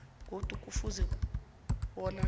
godu kufuze bona